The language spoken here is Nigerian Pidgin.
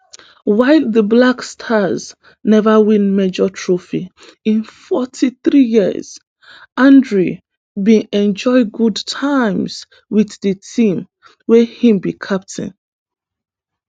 while di black stars neva win major trophy in forty-three years andre bin enjoy good times wit di team wia im be captain